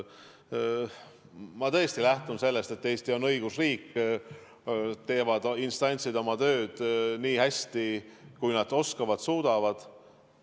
Ma tõesti lähtun sellest, et Eesti on õigusriik, instantsid teevad oma tööd nii hästi, kui nad oskavad ja suudavad.